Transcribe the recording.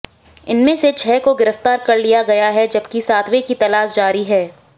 इनमें से छह को गिरफ्तार कर लिया गया है जबकि सातवें की तलाश जारी है